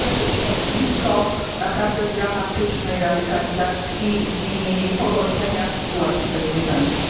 To może być ognisko naprawdę dramatycznej radykalizacji i pogorszenia sytuacji bezpieczeństwa.